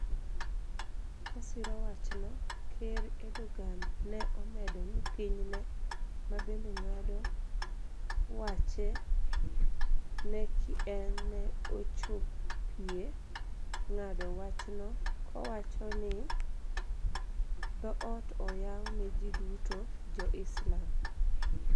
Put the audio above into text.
Kosiro wachno, ker Erdogan ne omedo ni piny ne, mabende ng'ado wache ne ki en ne ochopie ng'ado wachno kowachoni dhoot oyaw ne ji duto- jo Islam.